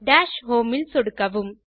dash homeல் சொடுக்கவும்